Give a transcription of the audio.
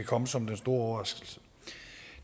komme som den store overraskelse